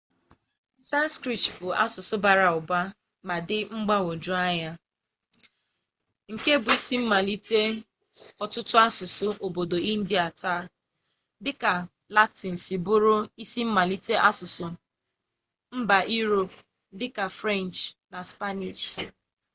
sanskrit bụ asụsụ bara ụba ma dị mgbagwoju anya nke bụ isi mmalite ọtụtụ asụsụ obodo india taa dịka latịn siri bụrụ isi mmalite asụsụ mba iroopu dịka frenchị na spaniishi